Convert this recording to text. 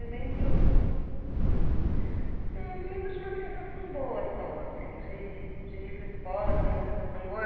Eu lembro... Eu me lembro de uma sensação boa só, assim, de de ir para escola, de ser uma sensação boa.